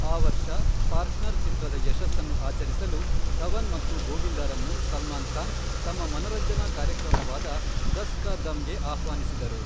ಆ ವರ್ಷ, ಪಾರ್ಟ್ನರ್, ಚಿತ್ರದ ಯಶಸ್ಸನ್ನು ಆಚರಿಸಲು, ಧವನ್ ಮತ್ತು ಗೋವಿಂದರನ್ನು ಸಲ್ಮಾನ್ ಖಾನ್‌ ತಮ್ಮ ಮನರಂಜನಾ ಕಾರ್ಯಕ್ರಮವಾದ ದಸ್ ಕಾ ದಮ್‌ಗೆ ಆಹ್ವಾನಿಸಿದರು.